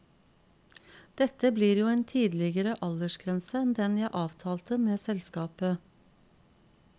Dette blir jo en tidligere aldersgrense enn den jeg avtalte med selskapet.